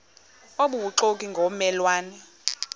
obubuxoki ngomme lwane